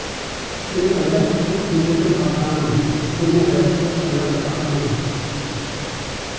сені ойлап көп күндерді батырамын сені ойлап көп таңдарды атырамын